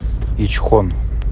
ичхон